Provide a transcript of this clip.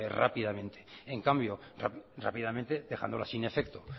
rápidamente dejándolas sin efecto